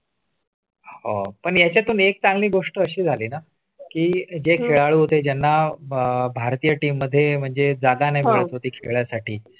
आह पण यातून एक चांगली गोष्ट अशी झाली ना की जे खेळ होतात ज्यांना अह भारतीय team मध्ये म्हणजे जागा नाही मिळण्या साठी